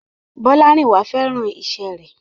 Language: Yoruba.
Bọ́lárìnwá féràn iṣẹ́ rẹ̀.